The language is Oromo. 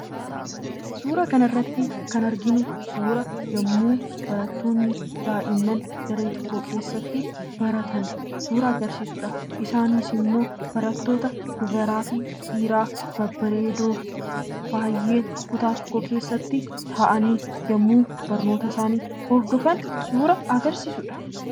Suura kanarratti kan arginu suura yommuu barattoonni daa'imman daree tokko keessatti baratan suura agarsiisudha. Isaanis immoo barattoota dubaraa fi dhiiraa babbareedoo, baay'ee kutaa tokko keessatti taa'anii yommuu barnoota isaanii hordofan suura agarsiisudha.